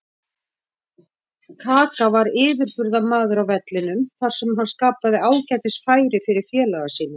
Kaka var yfirburðamaður á vellinum þar sem hann skapaði ágætis færi fyrir félaga sína.